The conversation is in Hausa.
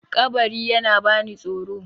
kabari yana bani tsoro